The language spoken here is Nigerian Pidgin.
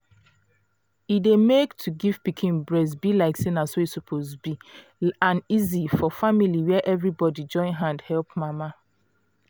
e dey make to give pikin breast be like say na so e suppose be an easy for family where everybody join hand help mama